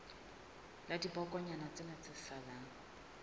la dibokonyana tsena tse salang